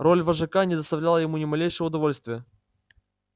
роль вожака не доставляла ему ни малейшего удовольствия